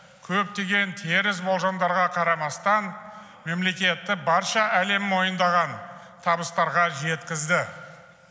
көптеген теріс болжамдарға қарамастан мемлекетті барша әлем мойындаған табыстарға жеткізді